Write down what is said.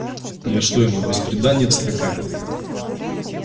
я что ему бесприданница какая